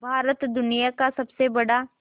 भारत दुनिया का सबसे बड़ा